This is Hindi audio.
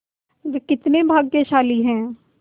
वे कितने भाग्यशाली हैं